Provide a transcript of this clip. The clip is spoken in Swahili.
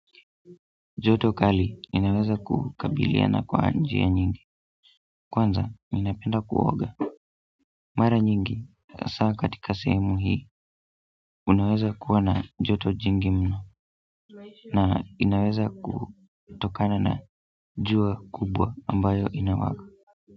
Joto kali inaweza kukabiliana kwa njia nyingi kwanza ninapenda kuoga mara nyingi, hasa katika sehemu hii unaweza kuwa na joto jingi mno na inaweza kutokana na jua kubwa ambayo inawaka.